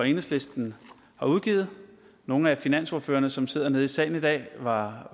enhedslisten har udgivet nogle af finansordførerne som sidder nede i salen i dag var